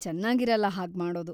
ಚೆನ್ನಾಗಿರಲ್ಲ ಹಾಗ್ಮಾಡೋದು.